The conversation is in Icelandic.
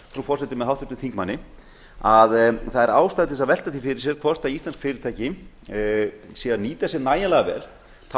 frú forseti með háttvirtum þingmanni að það er ástæða til að velta því fyrir sér hvort íslensk fyrirtæki séu að nýta sér n ægilega vel þá